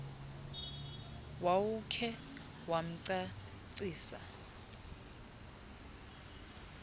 wawukhe wamnca ncisa